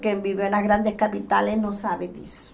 Quem viveu nas grandes capitales não sabe disso.